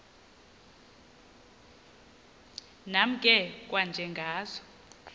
nam ke kwanjengazo